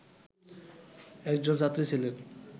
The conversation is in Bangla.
একজন ছাত্রী ছিলেন